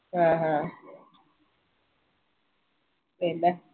ആ ആ പിന്നാ